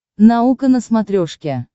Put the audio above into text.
наука на смотрешке